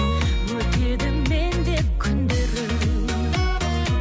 өтеді мен деп күндерің